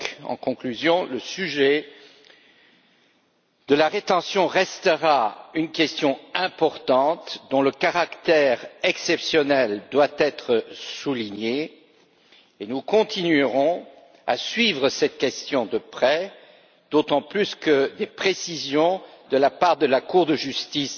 En conclusion, le sujet de la rétention restera une question importante, dont le caractère exceptionnel doit être souligné, et nous continuerons à suivre cette question de près, d'autant plus que des précisions de la part de la Cour de justice